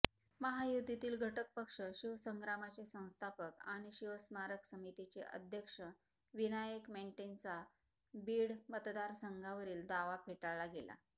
महायुतीतील घटकपक्ष शिवसंग्रामचे संस्थापक आणि शिवस्मारक समितीचे अध्यक्षविनायक मेटेंचा बीड मतदार संघावरील दावा फेटाळला गेला